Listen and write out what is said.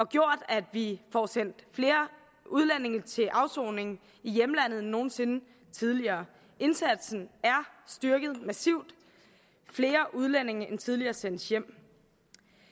gjort at vi får sendt flere udlændinge til afsoning i hjemlandet end nogen sinde tidligere indsatsen er styrket massivt flere udlændinge end tidligere sendes hjem